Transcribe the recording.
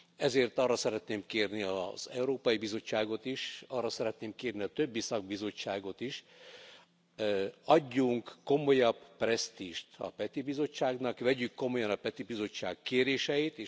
Ezért arra szeretném kérni a Európai Bizottságot is, arra szeretném kérni a többi szakbizottságot is, adjunk komolyabb presztízst a Peti Bizottságnak, vegyük komolyan a Peti Bizottság kéréseit!